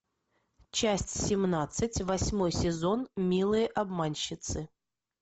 часть семнадцать восьмой сезон милые обманщицы